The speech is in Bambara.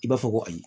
I b'a fɔ ko ayi